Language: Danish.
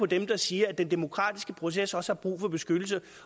dem der siger at den demokratiske proces også har brug for beskyttelse